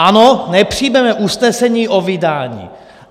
Ano, nepřijmeme usnesení o vydání.